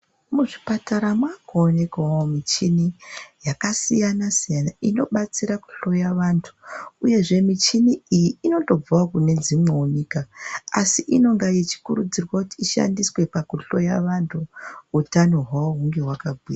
Muzvipatara mwakuonekawo muchini yakasiyana-siyana, nobatsira kuhloya vantu uyezve muchini iyi inotobvawo kunedzimwewo nyika. Asi inonga ichikurudzirwa kuti ishandiswe pakuhloya vantu utano hwavo hunge kwakagwinya.